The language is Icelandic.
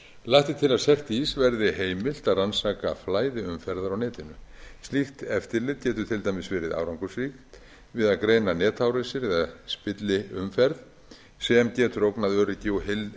lagt er til a cert ís verði heimilt að rannsaka flæði umferðar á netinu slíkt eftirlit getur til dæmis verið árangursríkt við að greina netárásir eða spilliumferð sem getur ógnað umferð og